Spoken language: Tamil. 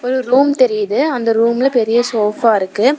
ஒரு ரூம் தெரியுது அந்த ரூம்ல பெரிய ஷோஃபா இருக்கு.